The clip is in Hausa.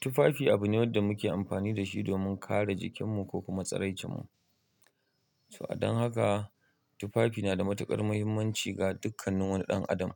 Tufafi abu ne wanda muke amfani da shi domin kare jikinmu ko kuma tsirai cenmu. To a dan haka tufafi na da matuƙar muhimmanci ga dukkan wani ɗan adam